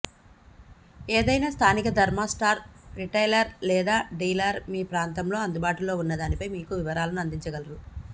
ఏదైనా స్థానిక thermo star retailer లేదా డీలర్ మీ ప్రాంతంలో అందుబాటులో ఉన్న దానిపై మీకు వివరాలను అందించగలరు